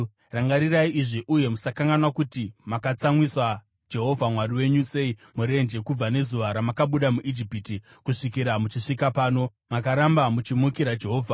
Rangarirai izvi uye musakanganwa kuti makatsamwisa Jehovha Mwari wenyu sei murenje. Kubva nezuva ramakabuda muIjipiti kusvikira muchisvika pano, makaramba muchimukira Jehovha.